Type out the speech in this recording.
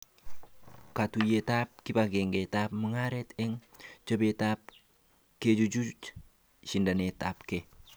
Katuyeab kibagengeab magaret eng chobetab kechuchuch shendanetabke